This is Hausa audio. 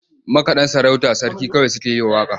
Makaɗan sarauta sarki kawai suke yi wa waƙa.